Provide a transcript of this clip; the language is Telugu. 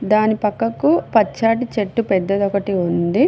దాని పక్కకు పచ్చాటి చెట్టు పెద్దది ఒకటి ఉంది.